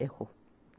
Errou.